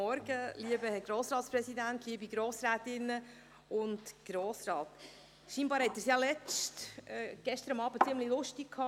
Scheinbar hatten Sie es gestern Abend ziemlich lustig.